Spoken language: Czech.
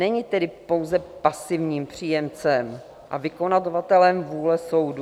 Není tedy pouze pasivním příjemcem a vykonavatelem vůle soudu.